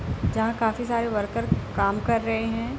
जहां काफी सारे वर्कर काम कर रहे है।